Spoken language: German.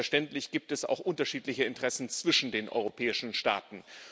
Denn selbstverständlich gibt es auch unterschiedliche Interessen zwischen den europäischen Staaten.